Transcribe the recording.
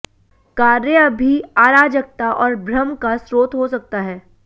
कार्य अभी अराजकता और भ्रम का स्रोत हो सकता है